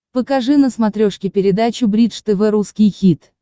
покажи на смотрешке передачу бридж тв русский хит